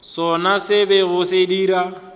sona se bego se dira